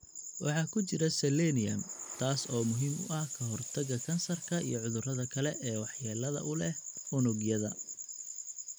Waxa ku jira Selenium, taas oo muhiim u ah ka hortagga kansarka iyo cudurrada kale ee waxyeelada u leh unugyada.